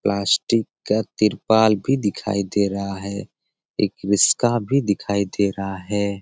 Plastic का त्रिपाल भी दिखाई दे रहा है एक रिश्का भी दिखाई दे रहा है।